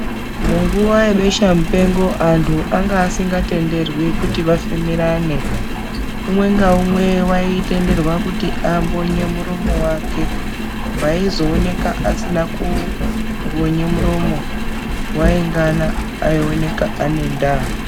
Munguwa yebesha mupengo anhu anga asingatenderwi kuti afemerane umwe ngaumwe aitendera kuti ambonye muromo wake .Aizoonekwa asina kumbonya muromo waingana aionekwa aine ndaa.